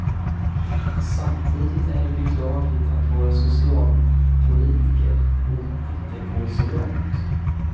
Samtidigt är det beklagligt att våra socialpolitiker låtit det gå så långt.